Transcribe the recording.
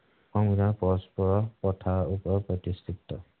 সংবিধান পৰস্পৰৰ কথাৰ ওপৰত প্ৰতিস্থিত